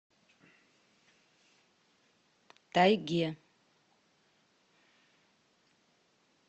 тайге